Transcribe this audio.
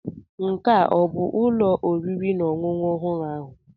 Nke ahụ ọ bụ ụlọ oriri na ọṅụṅụ ọhụrụ ahụ?